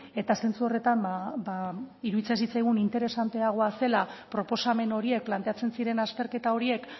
eta zentzu horretan ba iruditzen zitzaigun interesanteagoa zela proposamen horiek planteatzen ziren azterketa horiek